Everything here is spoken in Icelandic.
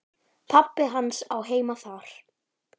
Pabbi hans á heima þar.